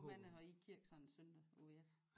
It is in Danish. Hvor mange har I i kirke sådan en søndag ude i jeres